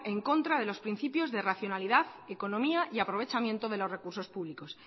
en contra de los principios de racionalidad economía y aprovechamiento de los recursos públicos